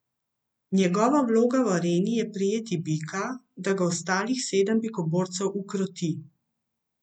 Njegova vloga v areni je prijeti bika, da ga ostalih sedem bikoborcev ukroti.